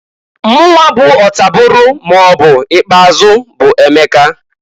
Mụnwa bụ ọtabụrụ maọbụ ikpeazụ bu Emeka.